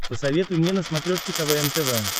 посоветуй мне на смотрешке квн тв